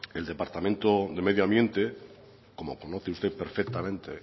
el departamento de medio ambiente como conoce usted perfectamente